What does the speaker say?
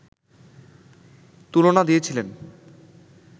তুলনা দিয়েছিলেন